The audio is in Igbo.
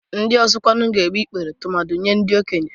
Ndị ọzọ kwarị ga-egbu ikpere tumadị Nye ndị okenye.